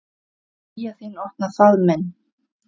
Hlýja þín opnar faðm minn.